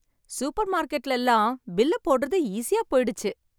super மார்க்கெட்டுல எல்லாம் bill போடுறது ஈஸியா போயிடுச்சு